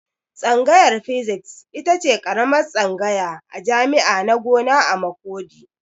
Tsangayar Physics itace karamar tsangaya a jami'a na gona a Makurdi